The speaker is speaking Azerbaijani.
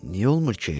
Niyə olmur ki,